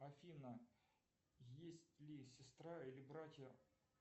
афина есть ли сестра или братья